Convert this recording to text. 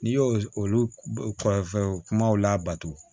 N'i y'o olu kɔrɔfɛnw kumaw labato